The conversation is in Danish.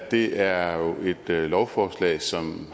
det er jo et lovforslag som